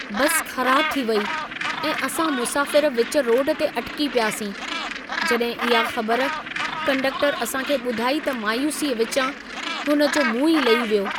बस ख़राब थी वेई ऐं असां मुसाफिर विच रोड ते अटिकी पियासीं, जॾहिं इहा ख़बर कंडक्टर असां खे ॿुधाई त मायूसीअ विचां हुन जो मुंहुं ई लही वियो।